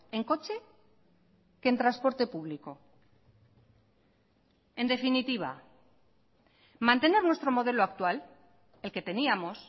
en coche que en transporte público en definitiva mantener nuestro modelo actual el que teníamos